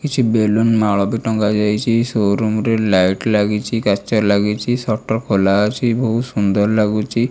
କିଛି ବେଲୁନ ମାଳ ବି ଟଙ୍ଗା ଯାଇଛି ସୋ ରୁମ୍ ରେ ଲାଇଟ ଲାଗିଚି କାଚ ଲାଗିର ସଟର ଖୋଲା ଅଛି ବୋହୁତ ସୁନ୍ଦର୍ ଲାଗୁଚି।